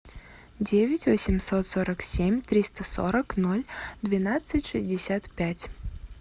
девять восемьсот сорок семь триста сорок ноль двенадцать шестьдесят пять